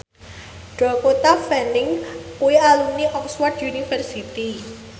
Dakota Fanning kuwi alumni Oxford university